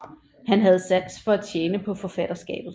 Han havde sans for at tjene på forfatterskabet